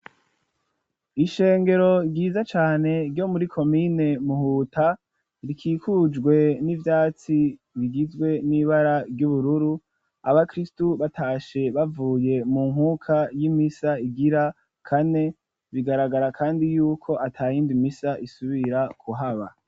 Ishengero ryiza cane ryo muri komine Muhuta rikikujwe n'ivyatsi bigizwe n'ibara ry'ubururu abakiristu batashe bavuye mu nkuka y'imisa igira kane bigaragara kandi yuko atayindi misa isubira kuhaba.